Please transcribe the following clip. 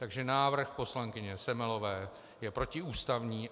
Takže návrh poslankyně Semelové je protiústavní.